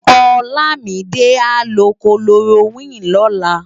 Olamide á lò kólórókwin lòlá